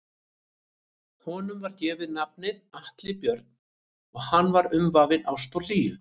Honum var gefið nafnið Atli Björn og hann var umvafinn ást og hlýju.